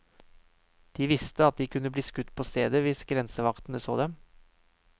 De visste at de kunne bli skutt på stedet hvis grensevaktene så dem.